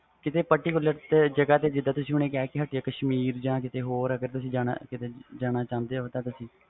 ਕਿਸੇ particular ਜਗ੍ਹਾ ਤੇ ਜਿਵੇ ਤੁਸੀ ਕਹਿ ਕੇ ਹਟੇ ਹੋ ਕਸ਼ਮੀਰ ਜਾ ਕਿਸੇ ਹੋਰ ਜ੍ਹਗਾ ਤੇ ਜਾਣਾ ਚਾਹੁੰਦੇ ਹੋ